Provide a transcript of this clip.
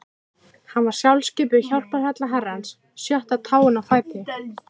Hann var sjálfskipuð hjálparhella Herrans, sjötta táin á fæti